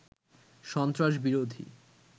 সন্ত্রাস বিরোধী